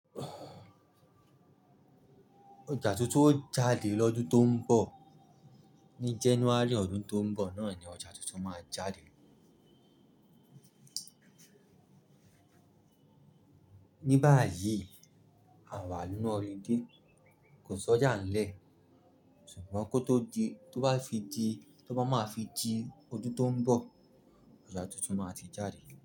Ọjà tuntun ó jáde lọ́dún tó ń bọ̀. Ni January ọdún tó ń bọ̀ náà ni ọjà tuntun máa jáde. Ní báyìí àwa nínú holliday kò sọ́jà ńlẹ̀, ṣùgbọ́n kó tó di, tó bá fi di, tó bá máa fi di ọdún tó ń bọ̀, ọjà tuntun máa ti jáde.